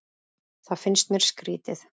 Það finnst mér skrýtið